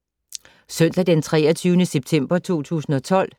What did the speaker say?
Søndag d. 23. september 2012